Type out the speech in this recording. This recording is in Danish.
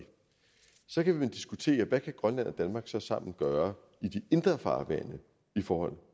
så kan man diskutere hvad kan grønland og danmark så sammen gøre i de indre farvande i forhold